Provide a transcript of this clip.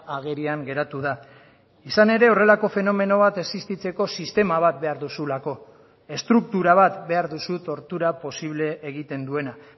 agerian geratu da izan ere horrelako fenomeno bat existitzeko sistema bat behar duzulako estruktura bat behar duzu tortura posible egiten duena